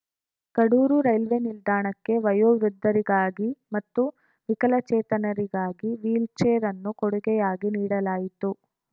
Kadur railway ನಿಲ್ದಾಣಕ್ಕೆ ವಯೋ ವೃದ್ಧರಿಗಾಗಿ ಮತ್ತು ವಿಕಲಚೇತನರಿಗಾಗಿ ವೀಲ್‌ ಚೇರ್‌ ಅನ್ನು ಕೊಡುಗೆಯಾಗಿ ನೀಡಲಾಯಿತು